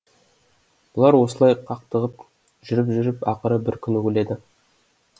бұлар осылай қақтығып жүріп жүріп ақыры бір күні өледі